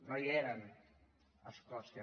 no hi eren a escòcia